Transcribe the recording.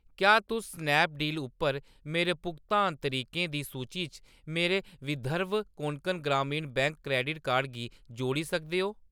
क्या तुस स्नैपडील उप्पर मेरे भुगतान तरीकें दी सूची च मेरे Vidarbha Konkan Gramin bank credit card गी जोड़ी सकदे ओ ?